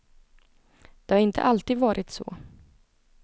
Det har inte alltid varit så.